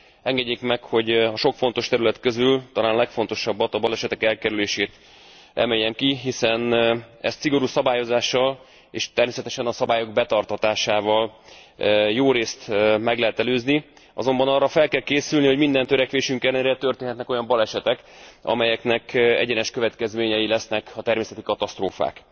Engedjék meg, hogy a sok fontos terület közül talán a legfontosabbat, a balesetek elkerülését emeljem ki, hiszen ezt szigorú szabályozással, és természetesen a szabályok betartatásával jórészt meg lehet előzni, azonban arra fel kell készülni, hogy minden törekvésünk ellenére történhetnek olyan balesetek, amelyeknek egyenes következményei lesznek a természeti katasztrófák.